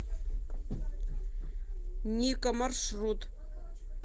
ника маршрут